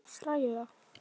Hvort ég sé að hræða.